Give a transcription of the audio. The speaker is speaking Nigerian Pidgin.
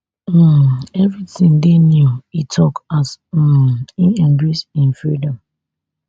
um evri tin dey new e tok as um im embrace im freedom